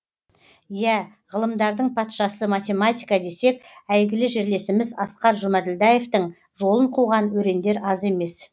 иә ғылымдардың патшасы математика десек әйгілі жерлесіміз асқар жұмаділдаевтың жолын қуған өрендер аз емес